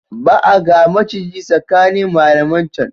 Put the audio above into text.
Ba a ga maciji tsakanin malaman can.